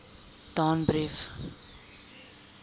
danbrief